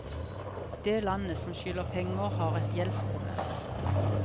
Det landet som skylder penger har et gjeldsproblem.